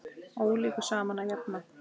Ólíku saman að jafna.